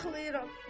Ağlayıram.